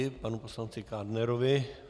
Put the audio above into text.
Děkuji panu poslanci Kádnerovi.